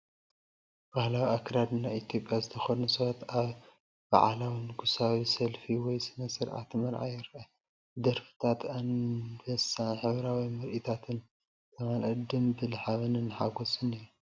ባህላዊ ኣከዳድና ኢትዮጵያ ዝተኸድኑ ሰባት ኣብ በዓላዊ ንጉሳዊ ሰልፊ ወይ ስነ-ስርዓት መርዓ ይረኣዩ። ብደርፍታት ኣንበሳን ሕብራዊ ምርኢታትን ዝተማልአ ጽምብል ሓበንን ሓጎስን እዩ።